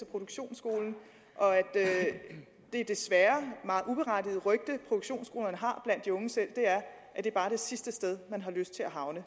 produktionsskole og at det desværre meget uberettigede rygte produktionsskolerne har blandt de unge selv er at det bare er det sidste sted man har lyst til at havne